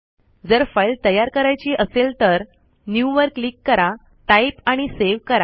जर फाईल तयार करायची असेल तर न्यू वर क्लिक करा टाईप आणि सेव करा